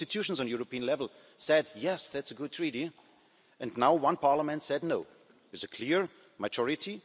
three institutions at European level said yes', that's a good Treaty, and now one parliament has said no' with a clear majority.